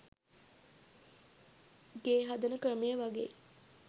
ගේ හදන ක්‍රමය වගෙයි.